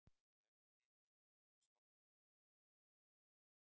Verður niðurskurði til stofnunarinnar mótmælt